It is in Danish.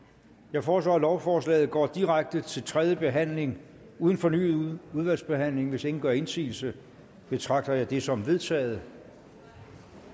jeg foreslår at lovforslaget går direkte til tredje behandling uden fornyet udvalgsbehandling hvis ingen gør indsigelse betragter jeg det som vedtaget